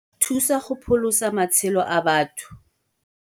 Thusa go pholosa matshelo a batho